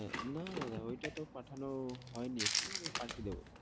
না দাদা ওই টা তো পাঠানো হয় নি এখনো আমি পাঠিয়ে দেবো।